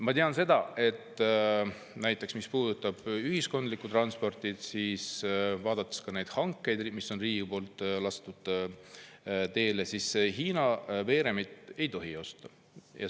Ma tean seda, et mis puudutab ühiskondlikku transporti, siis kui vaadata neid hankeid, mis riik on teinud, on näha, et Hiina veeremit ei tohi osta.